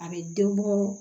A bɛ den bɔ